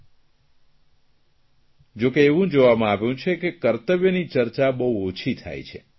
પરંતુ એવું જોવામાં આવ્યું છે કે કર્તવ્યની ચર્ચા બહુ ઓછી થાય છે